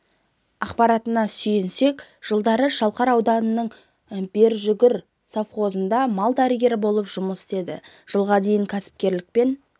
ақпаратына сүйенсек жылдары шалқар ауданының бершүгір совхозында мал дәрігері болы жұмыс істеді жылға дейін кәсіпкерлікпен